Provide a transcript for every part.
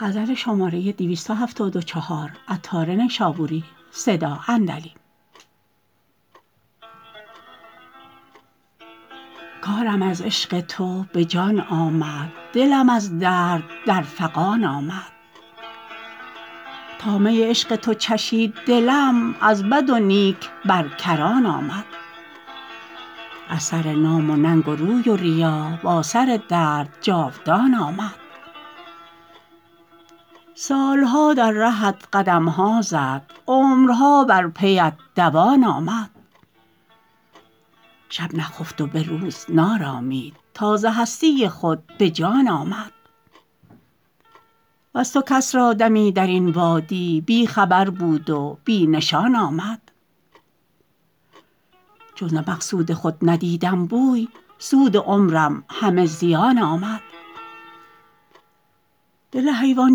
کارم از عشق تو به جان آمد دلم از درد در فغان آمد تا می عشق تو چشید دلم از بد و نیک بر کران آمد از سر نام و ننگ و روی و ریا با سر درد جاودان آمد سالها در رهت قدمها زد عمرها بر پیت دوان آمد شب نخفت و به روز نارامید تا ز هستی خود به جان آمد وز تو کس را دمی درین وادی بی خبر بود و بی نشان آمد چون ز مقصود خود ندیدم بوی سود عمرم همه زیان آمد دل حیوان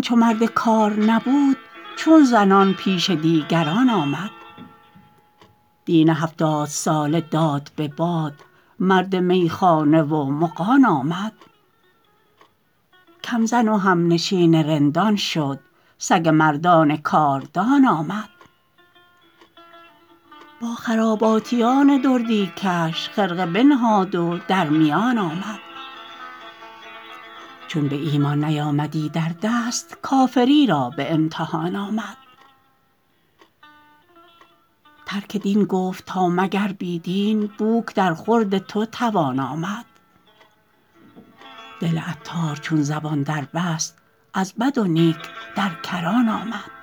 چو مرد کار نبود چون زنان پیش دیگران آمد دین هفتاد ساله داد به باد مرد میخانه و مغان آمد کم زن و همنشین رندان شد سگ مردان کاردان آمد با خراباتیان دردی کش خرقه بنهاد و در میان آمد چون به ایمان نیامدی در دست کافری را به امتحان آمد ترک دین گفت تا مگر بی دین بوک در خورد تو توان آمد دل عطار چون زبان دربست از بد و نیک در کران آمد